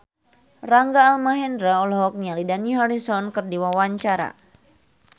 Rangga Almahendra olohok ningali Dani Harrison keur diwawancara